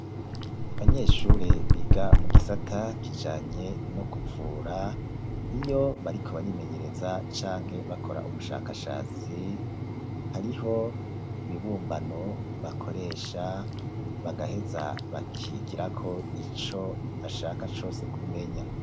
Abanyeshure biga mu gisata kijanye no kuvura, iyo bariko barimenyereza canke bakora ubushakashatsi, hariho ibibumbano bakoresha bagaheza bakigirako ico bashaka cose kumenya.